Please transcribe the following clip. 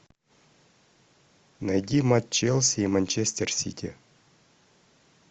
найди матч челси и манчестер сити